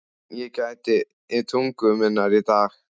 Ég gæti tungu minnar í dag.